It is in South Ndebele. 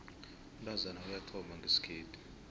umntazana uyathomba ngesikhethu